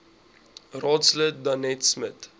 raadslid danetta smit